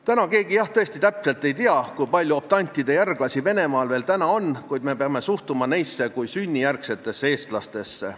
Täna tõesti keegi täpselt ei tea, kui palju optantide järglasi Venemaal veel on, kuid me peame suhtuma neisse kui sünnijärgsetesse Eesti kodanikesse.